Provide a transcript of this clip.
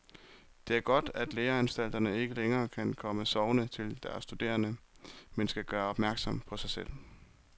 Det er godt, at læreanstalterne ikke længere kan komme sovende til deres studerende, men skal gøre opmærksom på sig selv.